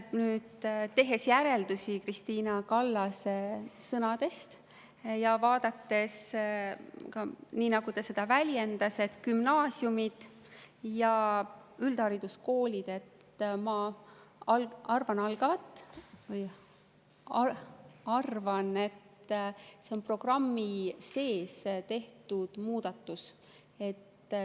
Tehes järeldusi Krist`ina Kallase sõnadest ja vaadates, nii nagu ta seda väljendas, et seal on gümnaasiumid ja üldhariduskoolid, ma arvan, et see on programmi sees tehtud muudatus.